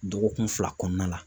Dɔgɔkun fila kɔnɔna la